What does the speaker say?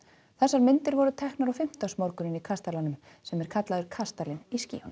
þessar myndir voru teknar á fimmtudagsmorgunn í kastalanum sem er kallaður kastalinn í skýjunum